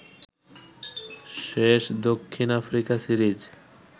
শেষ দক্ষিণ Africa series